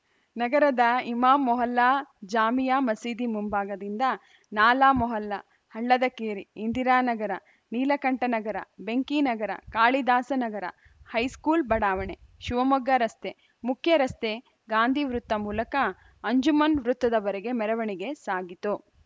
ನಗರದ ಇಮಾಂ ಮೊಹಲ್ಲಾ ಜಾಮಿಯಾ ಮಸೀದಿ ಮುಂಭಾಗದಿಂದ ನಾಲಾ ಮೊಹಲ್ಲಾ ಹಳ್ಳದಕೇರಿ ಇಂದಿರಾನಗರ ನೀಲಕಂಠನಗರ ಬೆಂಕಿನಗರ ಕಾಳಿದಾಸನಗರ ಹೈಸ್ಕೂಲ್‌ ಬಡಾವಣೆ ಶಿವಮೊಗ್ಗ ರಸ್ತೆ ಮುಖ್ಯ ರಸ್ತೆ ಗಾಂಧೀ ವೃತ್ತ ಮೂಲಕ ಅಂಜುಮನ್‌ ವೃತ್ತದವರೆಗೆ ಮೆರವಣಿಗೆ ಸಾಗಿತು